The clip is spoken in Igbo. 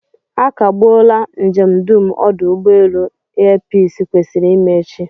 A kagbuola njem dum ọdụ ụgbọelu air peace kwesịrị ime echi